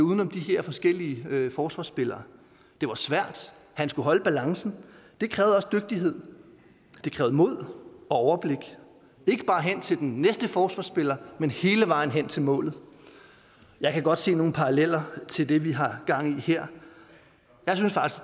uden om de her forskellige forsvarsspillere det var svært han skulle holde balancen det krævede også dygtighed det krævede mod og overblik ikke bare hen til den næste forsvarsspiller men hele vejen hen til målet jeg kan godt se nogle paralleller til det vi har gang i her